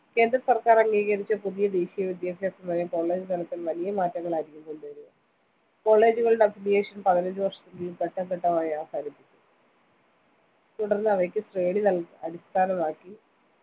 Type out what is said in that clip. കേന്ദ്ര സര്‍ക്കാര്‍ അംഗീകരിച്ച പുതിയ ദേശീയ വിദ്യാഭ്യാസ നയം college തലത്തില്‍ വലിയ മാറ്റങ്ങളായിരിക്കും കൊണ്ടു വരിക college കളുടെ affiliation പതിനഞ്ച വര്‍ഷത്തിനുള്ളില്‍ ഘട്ടംഘട്ടമായി അവസാനിപ്പിക്കും തുടര്‍ന്ന് അവയ്ക്ക് ശ്രേണി അടിസ്ഥാനമാക്കി